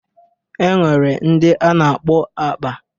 E nwere ndị a na-akpọ akpa.